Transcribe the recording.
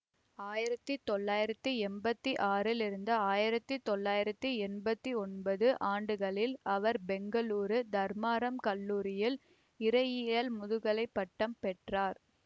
ஆயிரத்தி தொள்ளாயிரத்தி எம்பத்தி ஆறிலிருந்து ஆயிரத்தி தொள்ளாயிரத்தி எம்பத்தி ஒன்பது ஆண்டுகளில் அவர் பெங்களூரு தர்மாரம் கல்லூரியில் இறையியல் முதுகலை பட்டம் பெற்றார்